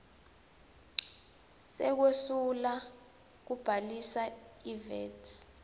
sekwesula kubhalisa ivat